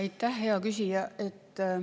Aitäh, hea küsija!